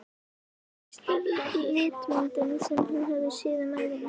Fyrsta litmyndin sem hann hafði séð um ævina.